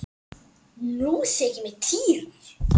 Nú þykir mér týra!